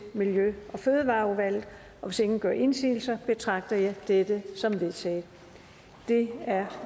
miljø og fødevareudvalget og hvis ingen gør indsigelse betragter jeg dette som vedtaget det er